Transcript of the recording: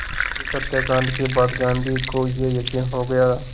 इस हत्याकांड के बाद गांधी को ये यक़ीन हो गया